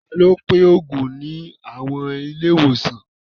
Ta ló ń pín òògùn ní àwọn ilé ìwòsàn?